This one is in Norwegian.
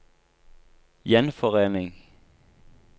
gjenforening